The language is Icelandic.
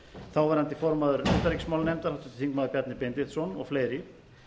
þáverandi formaður utanríkismálanefndar háttvirtur þingmaður bjarni benediktsson og fleiri